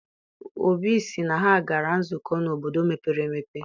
Obi sị na ha gara nzukọ n'obodo mepere emepe.